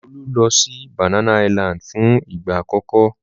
Olu lọ sí Banana Island fún ìgbà àkọ́kọ́.